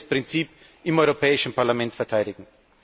Wir werden dieses Prinzip im Europäischen Parlament verteidigen!